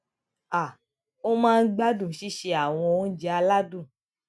um ó máa ń gbádùn sísè àwọn oúnjẹ aládùn